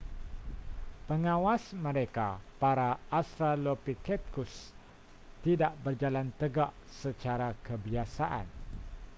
pengawas mereka para australopithecus tidak berjalan tegak secara kebiasaan